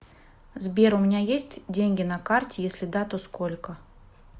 сбер у меня есть деньги на карте если да то сколько